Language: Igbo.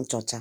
nchọcha.